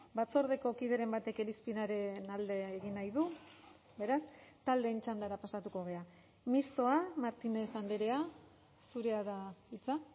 batzordeko kideren batek irizpenaren alde egin nahi du beraz taldeen txandara pasatuko gara mistoa martínez andrea zurea da hitza